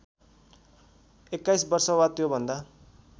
२१ वर्ष वा त्योभन्दा